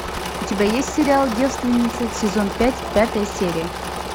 у тебя есть сериал девственница сезон пять пятая серия